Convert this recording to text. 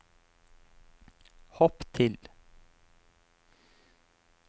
hopp til